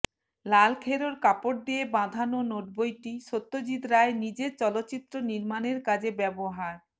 লাল খেরোর কাপড় দিয়ে বাঁধানো নোটবইটি সত্যজিৎ রায় নিজের চলচ্চিত্র নির্মাণের কাজে ব্যবহার